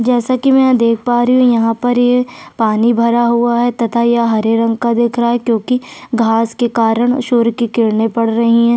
जैसा की मैं यह देख पा रही हु यहाँ पर ये पानी भरा हुआ है तथा यह हरे रंग का दिख रहा है क्यूंकी घाँस के कारण सूर्य की किरणे पड़ रही है।